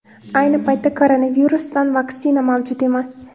Ayni paytda koronavirusdan vaksina mavjud emas.